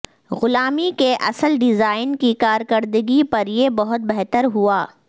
غلامی کے اصل ڈیزائن کی کارکردگی پر یہ بہت بہتر ہوا